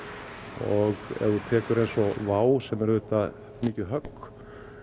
og ef þú tekur eins og WOW sem er auðvitað mikið högg